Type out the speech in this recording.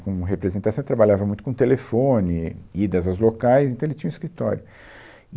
Como representante, você trabalhava muito com telefone, idas aos locais, então ele tinha um escritório.